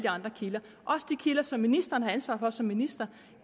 andre kilder også de kilder som ministeren har ansvar for som minister